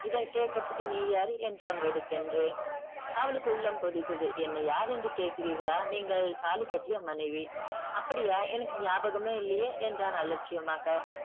இதை கேக்குறத்துக்கு நீ யாரு என்றான் வெடுக்கென்று. அவளுக்கு உள்ளம் கொதித்தது. என்னை யாரென்று கேட்கிறீர்களா நீங்கள் தாலி கட்டிய மனைவி. அப்படியா எனக்கு ஞாபகமே இல்லையே என்றான் அலட்சியமாக.